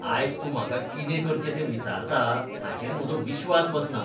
आयज तूं म्हाका कितें करचें तें विचारता हाचेर म्हजो विश्वास बसना.